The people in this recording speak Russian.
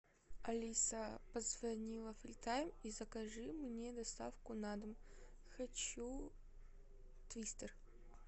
алиса позвони во фри тайм и закажи мне доставку на дом хочу твистер